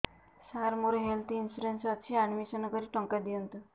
ସାର ମୋର health insurance ଅଛି admission କରି ଟଙ୍କା ଦିଅନ୍ତୁ